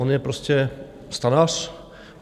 On je prostě stanař.